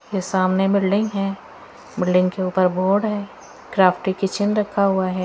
ये सामने बिल्डिंग है बिल्डिंग के ऊपर बोर्ड है क्राफ्ट पे किचन रखा हुआ है।